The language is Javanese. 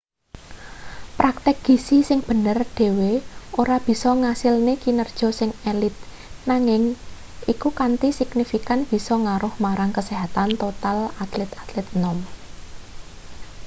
praktik gizi sing bener dhewe ora bisa ngasilne kinerja sing elit nanging iku kanthi signifikan bisa ngaruh marang kesehatan total atlet-atlet enom